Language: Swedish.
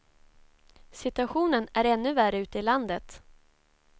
Situationen är ännu värre ute i landet.